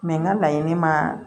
Mɛ n ka laɲini ma